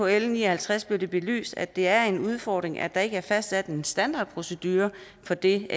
l ni og halvtreds blev det belyst at det er en udfordring at der ikke er fastsat en standardprocedure for det